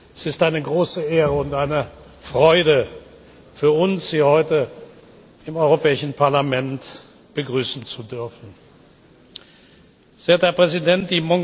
Es ist eine große Ehre und eine Freude für uns, Sie heute im Europäischen Parlament begrüßen zu dürfen. Sehr geehrter Herr Präsident!